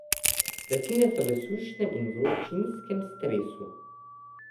Rastline so v sušnem in vročinskem stresu.